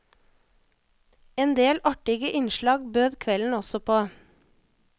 Endel artige innslag bød kvelden også på.